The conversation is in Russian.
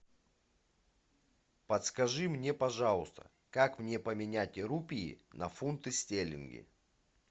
подскажи мне пожалуйста как мне поменять рупии на фунты стерлинги